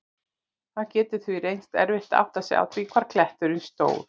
Það getur því reynst erfitt að átta sig á því hvar kletturinn stóð.